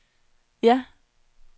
ja